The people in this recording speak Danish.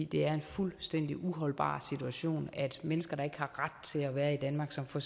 det er en fuldstændig uholdbar situation at mennesker der ikke har ret til at være i danmark som for